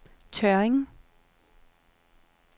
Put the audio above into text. Tørring